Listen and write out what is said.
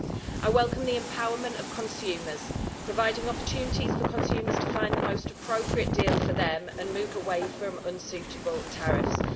I welcome the empowerment of consumers, providing opportunities for consumers to find the most appropriate deal for them and move away from unsuitable tariffs.